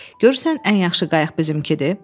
Görürsən ən yaxşı qayıq bizimkidir?